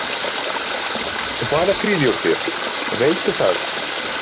Hvaða kryddjurtir, veistu það?